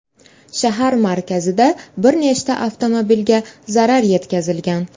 Shahar markazida bir nechta avtomobilga zarar yetkazilgan.